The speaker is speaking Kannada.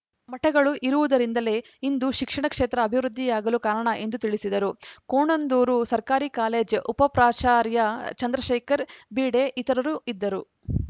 ಮಠಗಳು ಇರುವುದರಿಂದಲೇ ಇಂದು ಶಿಕ್ಷಣ ಕ್ಷೇತ್ರ ಅಭಿವೃದ್ಧಿಯಾಗಲು ಕಾರಣ ಎಂದರು ತಿಳಿಸಿದರು ಕೋಣಂದೂರು ಸರ್ಕಾರಿ ಕಾಲೇಜ್‌ ಉಪಪ್ರಾಚಾರ್ಯ ಚಂದ್ರಶೇಖರ್‌ ಬೀಡೆ ಇತರರು ಇದ್ದರು